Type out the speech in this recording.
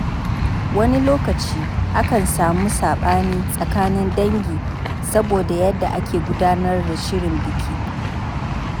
Wani lokaci, akan samu sabani tsakanin dangi saboda yadda ake gudanar da shirin biki.